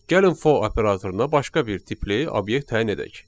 Gəlin for operatoruna başqa bir tipli obyekt təyin edək.